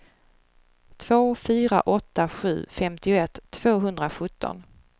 två fyra åtta sju femtioett tvåhundrasjutton